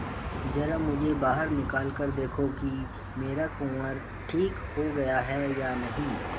जरा मुझे बाहर निकाल कर देखो कि मेरा कुंवर ठीक हो गया है या नहीं